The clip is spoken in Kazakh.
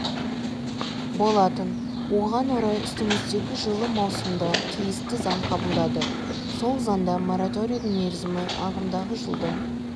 болатын оған орай үстіміздегі жылы маусымда тиісті заң қабылдады сол заңда мораторийдің мерзімі ағымдағы жылдың